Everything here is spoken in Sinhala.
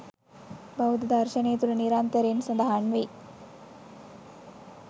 බෞද්ධ දර්ශනය තුළ නිරන්තරයෙන් සඳහන් වෙයි.